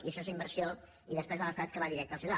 i això és inversió i despe sa de l’estat que va directa al ciutadà